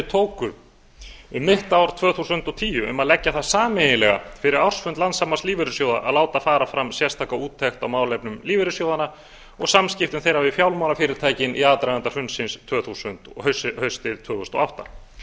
tóku um mitt ár tvö þúsund og tíu um að leggja það sameiginlega fyrir ársfund landssambands lífeyrissjóða að láta fara fram sérstaka úttekt á málefnum lífeyrissjóðanna og samskiptum þeirra við fjármálafyrirtækin í aðdraganda hrunsins haustið tvö þúsund og átta